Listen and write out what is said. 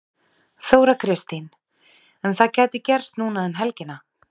Þóra Kristín: En það gæti gerst núna um helgina?